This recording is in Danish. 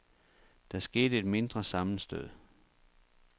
Der skete et mindre sammenstød.